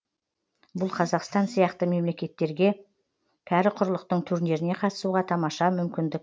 бұл қазақстан сияқты мемлекеттерге кәрі құрлықтың турниріне қатысуға тамаша мүмкіндік